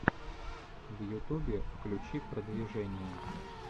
в ютубе включи продвижение